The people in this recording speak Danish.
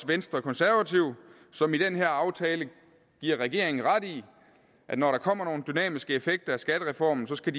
venstre og konservative som i den her aftale giver regeringen ret i at når der kommer nogle dynamiske effekter af skattereformen skal